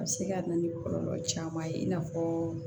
A bɛ se ka na ni kɔlɔlɔ caman ye i n'a fɔ